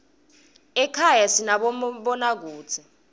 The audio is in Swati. ekhaya sinamabonakudze